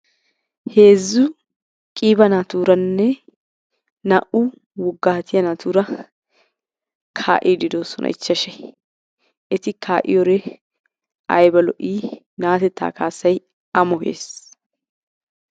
Heezzu qiiba naatuuranne naa"u woggaatiya naatuura kaa'iidi doosona ichchashay. Eti kaa'iyoree ayba lo'ii, natettaa kaassay amoyees.